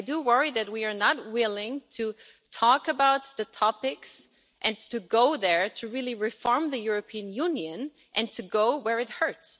I do worry that we are not willing to talk about the topics and to go there, to really reform the European Union and to go where it hurts.